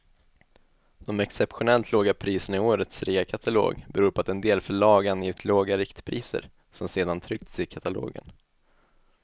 De exceptionellt låga priserna i årets reakatalog beror på att en del förlag angivit låga riktpriser, som sedan tryckts i katalogen.